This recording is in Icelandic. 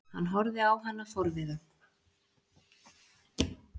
Hann horfði á hana forviða.